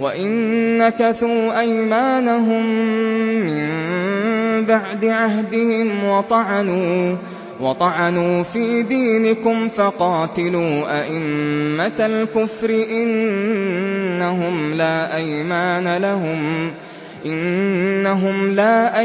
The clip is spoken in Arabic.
وَإِن نَّكَثُوا أَيْمَانَهُم مِّن بَعْدِ عَهْدِهِمْ وَطَعَنُوا فِي دِينِكُمْ فَقَاتِلُوا أَئِمَّةَ الْكُفْرِ ۙ إِنَّهُمْ لَا